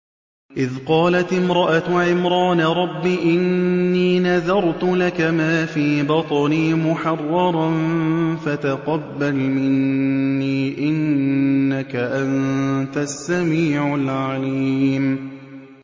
إِذْ قَالَتِ امْرَأَتُ عِمْرَانَ رَبِّ إِنِّي نَذَرْتُ لَكَ مَا فِي بَطْنِي مُحَرَّرًا فَتَقَبَّلْ مِنِّي ۖ إِنَّكَ أَنتَ السَّمِيعُ الْعَلِيمُ